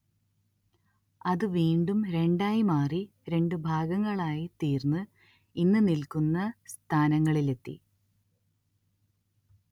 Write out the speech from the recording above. അത് വീണ്ടും രണ്ടായി മാറി രണ്ട് ഭാഗങ്ങളായി തീർന്ന് ഇന്ന് നിൽക്കുന്ന സ്ഥാനങ്ങളിലെത്തി